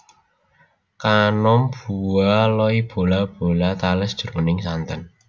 Kanom bua loy bola bola tales jroning santen